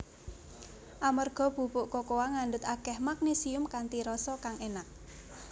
Amerga bubuk kokoa ngandhut akèh magnésium kanthi rasa kang énak